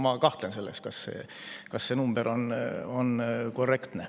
Ma kahtlen selles, kas see number on korrektne.